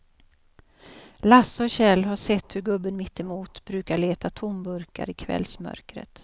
Lasse och Kjell har sett hur gubben mittemot brukar leta tomburkar i kvällsmörkret.